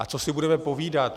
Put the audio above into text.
A co si budeme povídat.